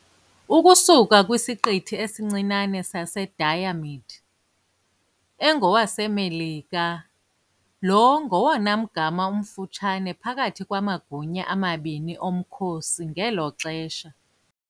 ukusuka kwisiqithi esincinane saseDiomede, engowaseMelika lo ngowona mgama umfutshane phakathi kwamagunya amabini omkhosi ngelo xesha.